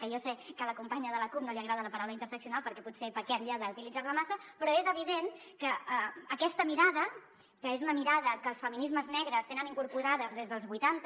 que jo sé que a la companya de la cup no li agrada la paraula interseccional perquè potser pequem ja d’utilitzar la massa però és evident que aquesta mirada que és una mirada que els feminismes negres tenen incorporada des dels vuitanta